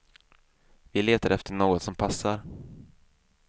Vi letar efter något som passar.